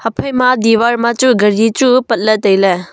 hai phaima diwar ma chu ghadi chu patley tailey.